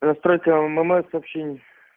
настройка ммс сообщений